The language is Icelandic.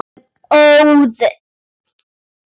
Ég er óð.